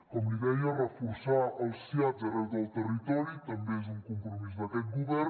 com li deia reforçar els siads arreu del territori també és un compromís d’aquest govern